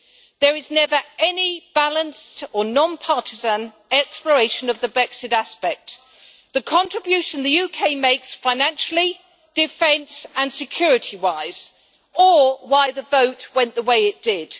There is never any balanced or non partisan exploration of the Brexit aspect, the contribution the UK makes financially, defence and security wise, or why the vote went the way it did.